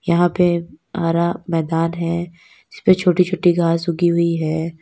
यहां पे हरा मैदान है जिसपे छोटी छोटी घास उगी हुई है।